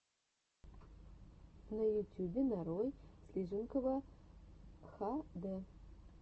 на ютюбе нарой слиженкова хд